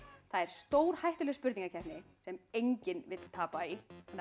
það er stórhættuleg spurningakeppni sem enginn vill tapa í